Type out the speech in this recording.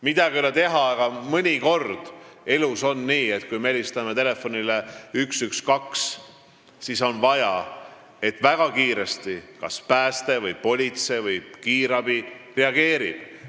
Midagi ei ole teha, aga mõnikord on elus nii, et kui me helistame telefonile 112, siis on vaja, et väga kiiresti kas päästeteenistus, politsei või kiirabi reageeriks.